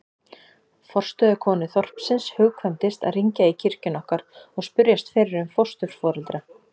Forstöðukonu þorpsins hugkvæmdist að hringja í kirkjuna okkar og spyrjast fyrir um fósturforeldra.